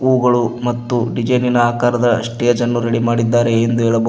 ಹೂಗಳು ಮತ್ತು ಡಿಜೆನಿನ ಆಕಾರದ ಸ್ಟೇಜ್ ಅನ್ನು ರೆಡಿ ಮಾಡಿದರೆ ಎಂದು ಹೇಳಬಹು--